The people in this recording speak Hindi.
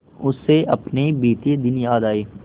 उसे अपने बीते दिन याद आए